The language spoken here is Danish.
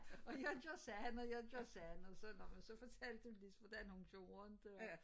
Og jeg gjorde sådan og jeg gjorde sådan og så nå men så fortalte hun ligesom hvordan hun gjorde det var